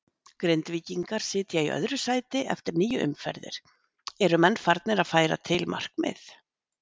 Grindvíkingar sitja í öðru sæti eftir níu umferðir, eru menn farnir að færa til markmið?